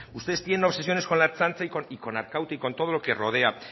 ustedes tienen obsesiones con la ertzaintza y con arkaute y con todo lo que rodeo